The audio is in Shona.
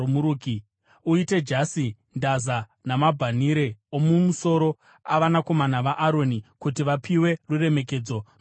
Uite majasi, ndaza namabhanhire omumusoro avanakomana vaAroni, kuti vapiwe ruremekedzo nokukudzwa.